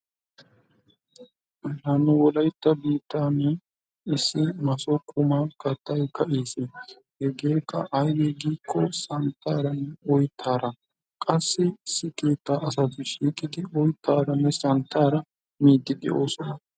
Ha nu wolaytta biittaani issi maaso quma kattay ka"iis. hegeekka aybee giiko santtaaranne oyttaara. Qassi issi keettaa asati shiiqqidi oyttaaranne santtaara miidi de"oosona.